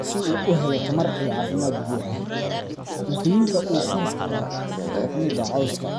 si uu u helo tamar iyo caafimaad buuxa. Cuntooyinka uu farasku daaqo waxaa ka mid ah cawska,